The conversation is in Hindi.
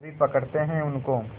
अभी पकड़ते हैं उनको